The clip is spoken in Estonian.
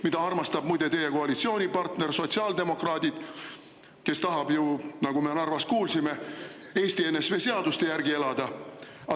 Seda armastavad muide teie koalitsioonipartnerid sotsiaaldemokraadid, kes tahavad ju, nagu me Narvas kuulsime, Eesti NSV seaduste järgi elada.